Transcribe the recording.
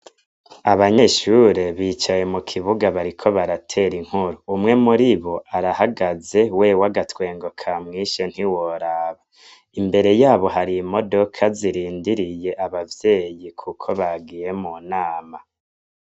Abanyeshure bicaye mu kibuga bariko baratera inkuru umwe muri bo arahagaze wewe agatwengo ka mwishe ntiworaba imbere yabo hari i modoka zirindiriye abavyeyi, kuko bagiye mu nama.